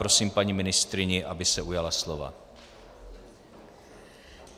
Prosím paní ministryni, aby se ujala slova.